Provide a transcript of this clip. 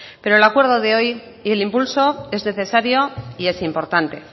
pero el acuerdo de hoy y el impulso es necesario y es importante